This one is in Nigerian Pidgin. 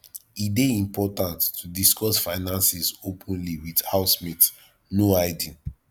e dey important to discuss finances openly with housemates no hiding